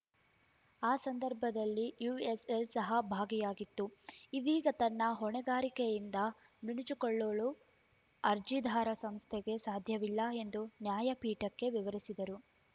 ಆ ಸಂದರ್ಭದಲ್ಲಿ ಯುಎಸ್‌ಎಲ್‌ ಸಹ ಭಾಗಿಯಾಗಿತ್ತು ಇದೀಗ ತನ್ನ ಹೊಣೆಗಾರಿಕೆಯಿಂದ ನುಣುಚಿಕೊಳ್ಳಲು ಅರ್ಜಿದಾರ ಸಂಸ್ಥೆಗೆ ಸಾಧ್ಯವಿಲ್ಲ ಎಂದು ನ್ಯಾಯಪೀಠಕ್ಕೆ ವಿವರಿಸಿದರು